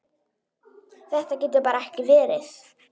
Þetta getur bara ekki verið.